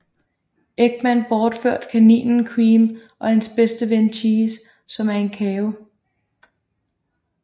Eggman bortført kaninen Cream og hendes bedste ven Cheese som er en Chao